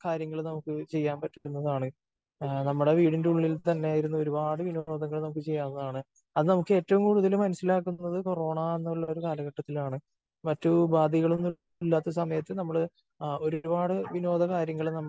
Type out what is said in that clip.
കാര്യങ്ങൾ നമുക്ക് ചെയ്യാൻ പാട്ടുന്നതാണ്. നമ്മുടെ വീടിന്റെ ഉള്ളിൽ തന്നെ ഇരുന്ന് ഒരുപാട് വിനോദങ്ങൾ നമുക്ക് ചെയ്യാവുന്നതാണ്. അത് നമ്മള് ഏറ്റവും കൂടുതൽ മനസ്സിലാക്കുന്നത് കൊറോണ എന്നുള്ള ഒരു കാലഘട്ടത്തിലാണ്. മറ്റ് ഉപാധികൾ ഒന്നും ഇല്ലാത്ത സമയത്ത് നമ്മള് ഒരുപാട് വിനോദ കാര്യങ്ങള് നമ്മള്